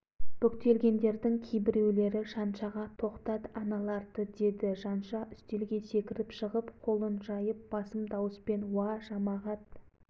қалел де бұғып шыға жөнелді қаратілеуұлы пешке сүйеніп тұрған бойымен аңырайып қалшиып қарап тұрып қалды кенжеұлы